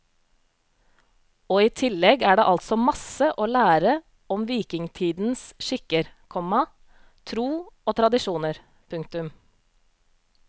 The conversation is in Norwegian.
Og i tillegg er det altså masse å lære om vikingetidens skikker, komma tro og tradisjoner. punktum